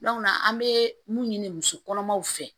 an bɛ mun ɲini musokɔnɔmaw fɛ